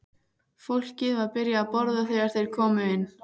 Fólkið var byrjað að borða þegar þeir komu inn.